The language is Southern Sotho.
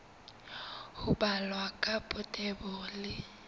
ho balwa ka botebo le